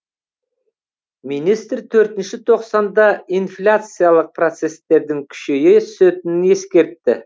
министр төртінші тоқсанда инфляциялық процестердің күшейе түсетінін ескертті